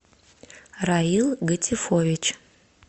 раил гатифович